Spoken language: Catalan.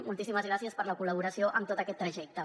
moltíssimes gràcies per la col·laboració en tot aquest trajecte